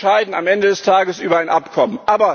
Wir entscheiden am Ende des Tages über ein Abkommen.